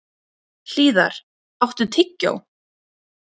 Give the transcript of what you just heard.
Hlíðar, áttu tyggjó?